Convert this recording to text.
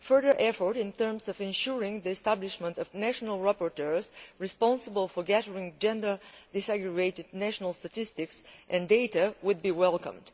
Further efforts in terms of ensuring the establishment of national rapporteurs responsible for gathering gender separated national statistics and data would be welcome.